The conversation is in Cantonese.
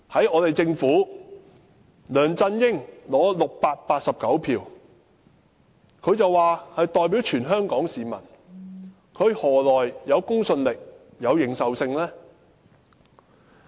我們的政府之首梁振英，取得689票便說自己代表全香港市民，他何來公信力和認受性？